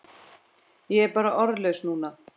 Ég er bara orðlaus núna.